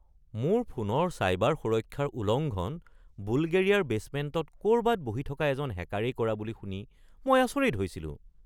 মোৰ ফোনত চাইবাৰ সুৰক্ষাৰ উলংঘন বুলগেৰিয়াৰ বেছমেণ্টত ক’ৰবাত বহি থকা এজন হেকাৰেই কৰা বুলি শুনি মই আচৰিত হৈছিলো।